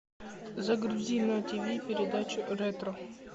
загрузи на тиви передачу ретро